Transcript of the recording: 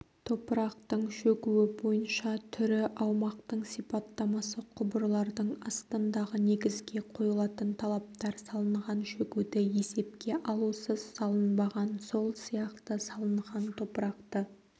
топырақтың шөгуі бойынша түрі аумақтың сипаттамасы құбырлардың астындағы негізге қойылатын талаптар салынған шөгуді есепке алусыз салынбаған сол сияқты салынған топырақты